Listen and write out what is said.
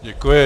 Děkuji.